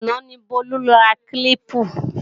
Àná ni Bólú ra kílíìpù